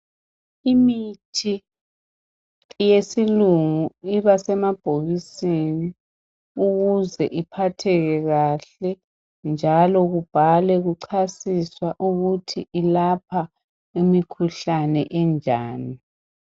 Imithi yesilungu iba semabhokisini ukuze iphatheke kahle njalo kubhalwe kuchasiswa ukuthi ilapha imikhuhlane enjani.